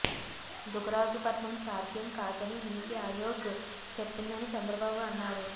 దుగరాజుపట్నం సాధ్యం కాదని నీతి అయోగ్ చెప్పిందని చంద్రబాబు అన్నారు